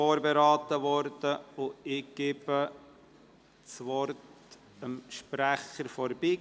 Dieser wurde ebenfalls von der BiK vorberaten.